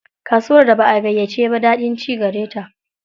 Kasuwar da ba a gayyace ba, daɗin ci gare ta.